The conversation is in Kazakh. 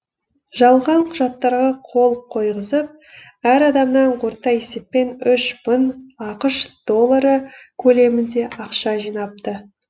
жалған құжаттарға қол қойғызып әр адамнан орта есеппен үш мың ақш доллары көлемінде ақша жинапты